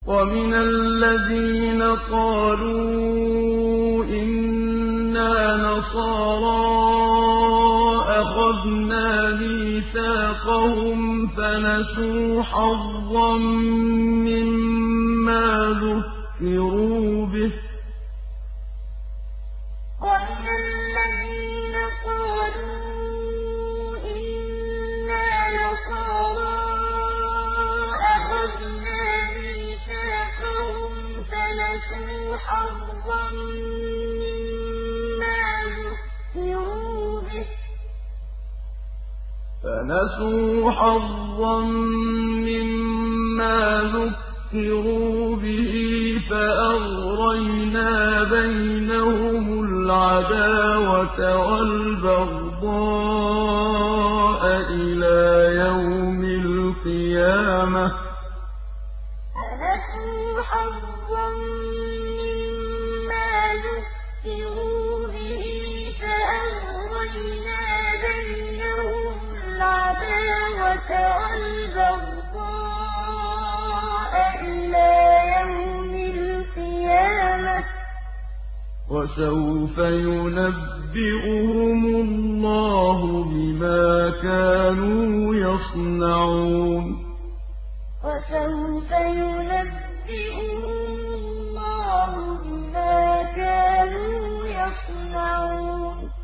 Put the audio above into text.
وَمِنَ الَّذِينَ قَالُوا إِنَّا نَصَارَىٰ أَخَذْنَا مِيثَاقَهُمْ فَنَسُوا حَظًّا مِّمَّا ذُكِّرُوا بِهِ فَأَغْرَيْنَا بَيْنَهُمُ الْعَدَاوَةَ وَالْبَغْضَاءَ إِلَىٰ يَوْمِ الْقِيَامَةِ ۚ وَسَوْفَ يُنَبِّئُهُمُ اللَّهُ بِمَا كَانُوا يَصْنَعُونَ وَمِنَ الَّذِينَ قَالُوا إِنَّا نَصَارَىٰ أَخَذْنَا مِيثَاقَهُمْ فَنَسُوا حَظًّا مِّمَّا ذُكِّرُوا بِهِ فَأَغْرَيْنَا بَيْنَهُمُ الْعَدَاوَةَ وَالْبَغْضَاءَ إِلَىٰ يَوْمِ الْقِيَامَةِ ۚ وَسَوْفَ يُنَبِّئُهُمُ اللَّهُ بِمَا كَانُوا يَصْنَعُونَ